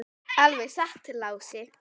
Alveg satt, Lási.